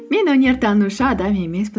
мен өнертанушы адам емеспін